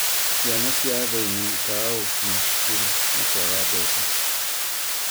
Ciana cia athĩni ikaga gũkinya cukuru nĩ kwaga mbeca